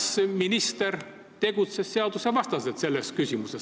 Kas minister tegutses selles küsimuses seadusvastaselt?